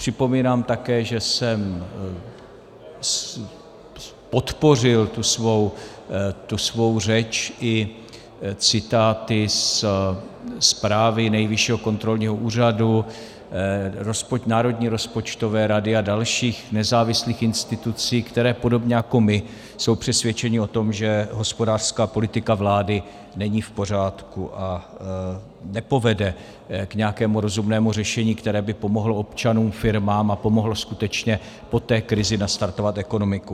Připomínám také, že jsem podpořil tu svou řeč i citáty ze zprávy Nejvyššího kontrolního úřadu, Národní rozpočtové rady a dalších nezávislých institucí, které podobně jako my jsou přesvědčeny o tom, že hospodářská politika vlády není v pořádku a nepovede k nějakému rozumnému řešení, které by pomohlo občanům, firmám a pomohlo skutečně po té krizi nastartovat ekonomiku.